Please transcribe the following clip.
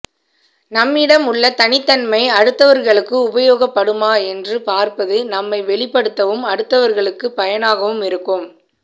நம்மிடம் உள்ள தனித்தன்மை அடுத்தவர்களுக்கு உபயோகப்படுமா என்று பார்ப்பது நம்மை வெளிப்படுத்தவும் அடுத்தவர்களுக்கு பயனாகவும் இருக்கும்